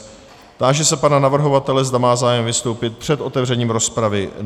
Táži se pana navrhovatele, zda má zájem vystoupit před otevřením rozpravy.